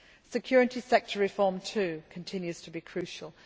Security sector reform, too, continues to be crucial.